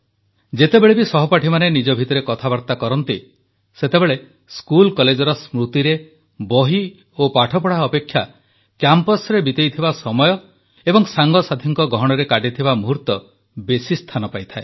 ଯେତେବେଳେ ବି ସହପାଠୀମାନେ ନିଜ ଭିତରେ କଥାବାର୍ତା କରନ୍ତି ସେତେବେଳେ ସ୍କୁଲ କଲେଜର ସ୍ମୃତିରେ ବହି ଓ ପାଠପଢ଼ା ଅପେକ୍ଷା କ୍ୟାମ୍ପସ୍ରେ ବିତାଇଥିବା ସମୟ ଓ ସାଙ୍ଗସାଥୀଙ୍କ ଗହଣରେ କାଟିଥିବା ମୂହୂର୍ତ୍ତ ବେଶୀ ସ୍ଥାନ ପାଏ